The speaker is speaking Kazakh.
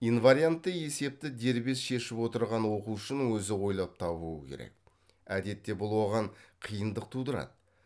инвариантты есепті дербес шешіп отырған оқушының өзі ойлап табуы керек әдетте бұл оған қиындық тудырады